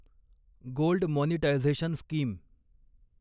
gold monetization scheme